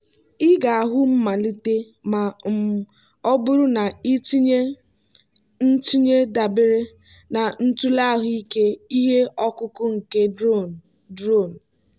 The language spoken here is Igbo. ị ga-ahụ mmelite ma um ọ bụrụ na ị tinye ntinye dabere na ntụle ahụike ihe ọkụkụ nke drone. drone.